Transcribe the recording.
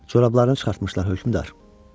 Corablarını çıxartmışlar, hökmdar.